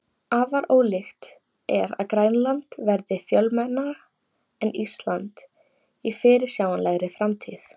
Afar ólíklegt er að Grænland verði fjölmennara en Ísland í fyrirsjáanlegri framtíð.